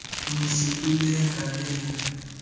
mzi kulenga lenga